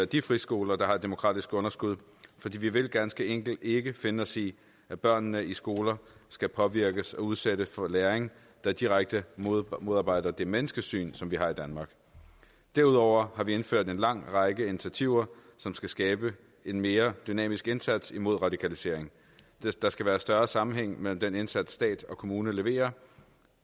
de friskoler der har et demokratisk underskud fordi vi ganske enkelt ikke vil finde os i at børnene i de skoler skal påvirkes og udsættes for læring der direkte modarbejder det menneskesyn som man har i danmark derudover har vi indført en lang række initiativer som skal skabe en mere dynamisk indsats mod radikalisering der skal være større sammenhæng mellem den indsats stat og kommune leverer